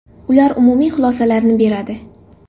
Ular umumiy xulosalarni beradi.